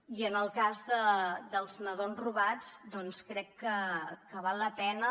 i en el cas dels nadons robats doncs crec que val la pena